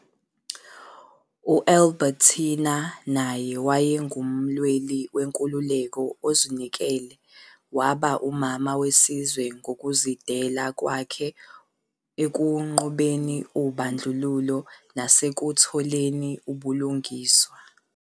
U-Albertina naye wayengumlweli wenkululeko ozinikele waba umama wesizwe ngokuzidela kwakhe ekunqobeni ubandlululo nasekutholeni ubulungiswa.